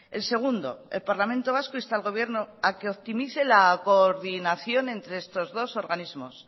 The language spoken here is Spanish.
el segundo el parlamento vasco insta al gobierno a que optimice la coordinación entre estos dos organismos